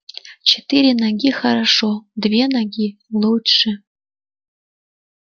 четыре ноги хорошо две ноги лучше